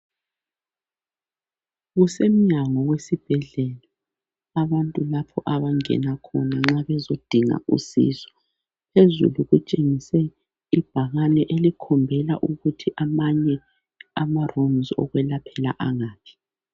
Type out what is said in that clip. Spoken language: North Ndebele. Kusemnyango wesibhedlela abantu lapho abangena khona nxa bezodinga usizo .Phezulu kutshengiswe ibhakani elikhombela ukuthi amanye amakamelo okwelaphela angaphi.